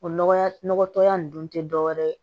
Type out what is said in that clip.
O nɔgɔya nɔgɔ tɔya ninnu dun tɛ dɔ wɛrɛ ye